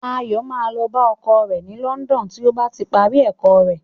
Ayọ̀ máa lọ bá ọkọ rẹ̀ ní London tí ó bá ti parí ẹ̀kọ́ rẹ̀.